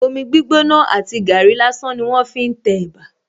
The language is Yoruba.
Omi gbígbóná àti gàárì lásán ni wón fi ń tẹ̀bà